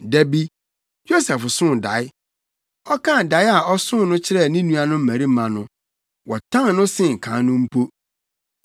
Da bi, Yosef soo dae. Ɔkaa dae a ɔsoo no kyerɛɛ ne nuanom mmarima no, wɔtan no sen kan no mpo.